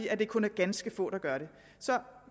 at det kun er ganske få der gør det så